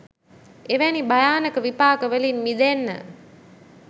එවැනි භයානක විපාක වලින් මිදෙන්න